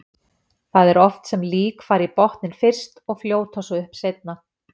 Það er oft sem lík fara í botninn fyrst og fljóta svo upp seinna.